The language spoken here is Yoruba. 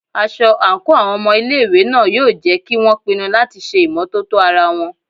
Aṣọ àǹkóò àwọn ọmọ ilé ìwé náà yóò jẹ́ kí won pinu láti ṣe ìmọ́tótó ara wọn.